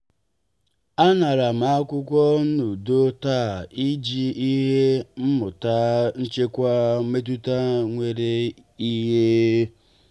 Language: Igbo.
a ṅara m nkwutọ n'udo taa i jiri ihe mmụta nchekwa metuta mere ihe.